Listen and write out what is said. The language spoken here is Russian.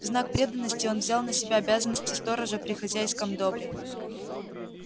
в знак преданности он взял на себя обязанности сторожа при хозяйском добре